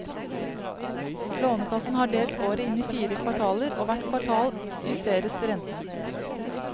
Lånekassen har delt året inn i fire kvartaler, og hvert kvartal justeres renten.